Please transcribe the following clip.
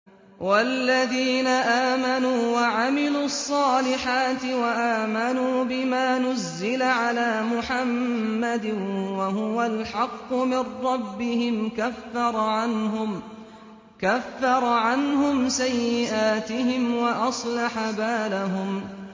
وَالَّذِينَ آمَنُوا وَعَمِلُوا الصَّالِحَاتِ وَآمَنُوا بِمَا نُزِّلَ عَلَىٰ مُحَمَّدٍ وَهُوَ الْحَقُّ مِن رَّبِّهِمْ ۙ كَفَّرَ عَنْهُمْ سَيِّئَاتِهِمْ وَأَصْلَحَ بَالَهُمْ